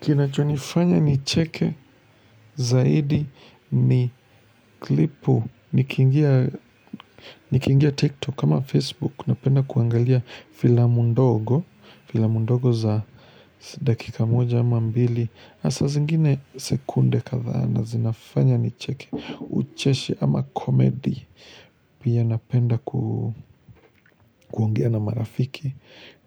Kinachonifanya ni cheke zaidi ni klipu niki ingia ni kiingia tiktok ama facebook napenda kuangalia filamu ndogo filamu ndogo za dakika moja ama mbili hasa zingine sekunde kathaa na zinafanya ni cheke ucheshi ama komedi pia napenda kuongea na marafiki